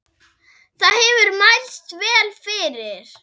Það hefur mælst vel fyrir.